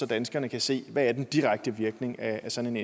danskerne kan se hvad den direkte virkning af sådan